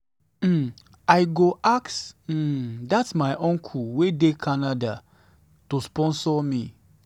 um i wan go ask um dat my uncle um wey dey canada to sponsor me.